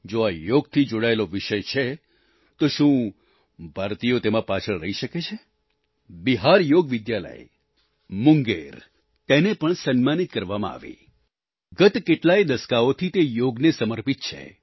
જો આ યોગથી જોડાયેલો વિષય છે તો શું ભારતીયો તેમાં પાછળ રહી શકે છે બિહાર યોગ વિદ્યાલય મુંગેર તેને પણ સન્માનિત કરવામાં આવી ગત કેટલાય દસકાઓથી તે યોગને સમર્પિત છે